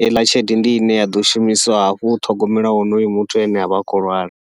heiḽa tshelede ndi ine ya ḓo shumisiwa hafhu u ṱhogomela honoyo muthu ane avha a khou lwala.